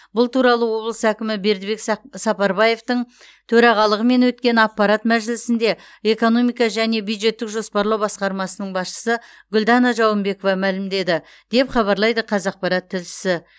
бұл туралы облыс әкімі бердібек сап сапарбаевтың төрағалығымен өткен аппарат мәжілісінде экономика және бюджеттік жоспарлау басқармасының басшысы гүлдана жауынбекова мәлімдеді деп хабарлайды қазақпарат тілшісі